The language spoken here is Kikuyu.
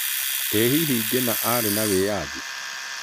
Ĩ hĩhĩ Ngĩna arĩ na wĩathĩ?